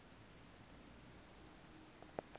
uhuben